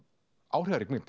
áhrifarík mynd